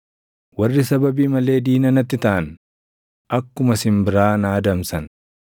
Warri sababii malee diina natti taʼan akkuma simbiraa na adamsan.